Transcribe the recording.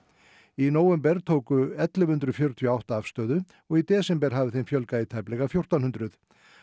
í nóvember tóku ellefu hundruð fjörutíu og átta afstöðu og í desember hafði þeim fjölgað í tæplega fjórtán hundruð